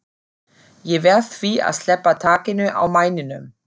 Ég verð því að sleppa takinu á mæninum.